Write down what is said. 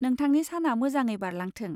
नोंथांनि साना मोजाङै बारलांथों।